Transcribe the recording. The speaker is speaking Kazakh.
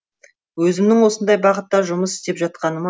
өзімнің осындай бағытта жұмыс істеп жатқаныма